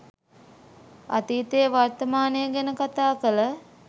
අතීතය වර්තමානය ගැන කතා කල